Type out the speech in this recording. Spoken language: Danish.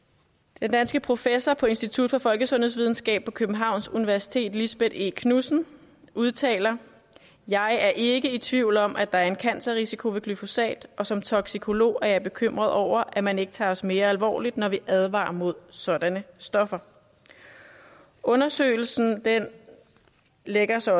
den danske professor på institut for folkesundhedsvidenskab på københavns universitet lisbeth e knudsen udtaler jeg er ikke i tvivl om at der er en cancerrisiko ved glyphosat og som toksikolog er jeg bekymret over at man ikke tager os mere alvorligt når vi advarer mod sådanne stoffer undersøgelsen lægger sig